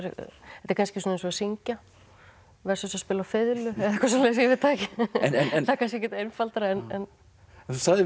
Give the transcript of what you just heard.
þetta er kannski eins og að syngja versus að spila á fiðlu eitthvað svoleiðis ég veit það ekki það er kannski ekkert einfaldara en þú sagðir við